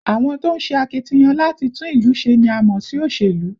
Àwọn tó ń ṣe akitiyan láti tún ìlú ṣe ni a mọ̀ sí olóṣèlú